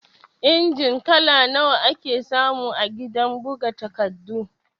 Injin kala nawa ake samu a gidan buga takardu?